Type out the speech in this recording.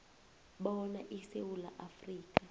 bona isewula afrika